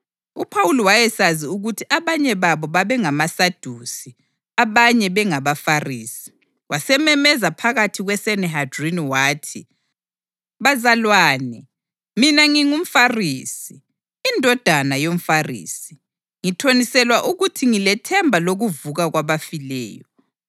UPhawuli wayesazi ukuthi abanye babo babe ngamaSadusi, abanye bengabaFarisi, wasememeza phakathi kweSanihedrini wathi, “Bazalwane, mina ngingumFarisi, indodana yomFarisi. Ngithoniselwa ukuthi ngilethemba lokuvuka kwabafileyo.”